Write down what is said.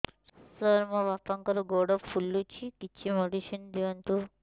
ସାର ମୋର ବାପାଙ୍କର ଗୋଡ ଫୁଲୁଛି କିଛି ମେଡିସିନ ଦିଅନ୍ତୁ